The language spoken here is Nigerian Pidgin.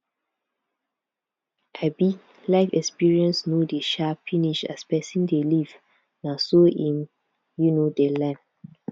um life experience no dey um finish as person dey live na so im um dey learn